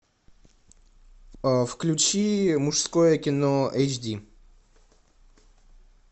включи мужское кино эйч ди